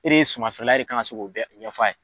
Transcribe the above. E de sumanfeerela ye e de kan se k'o bɛ ɲɛfɔ ye